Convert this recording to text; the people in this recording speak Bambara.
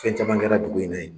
Fɛn caman kɛra dugu in na ye.